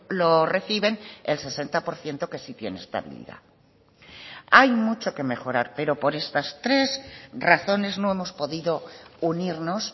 lo reciben el sesenta por ciento que sí tiene estabilidad hay mucho que mejorar pero por estas tres razones no hemos podido unirnos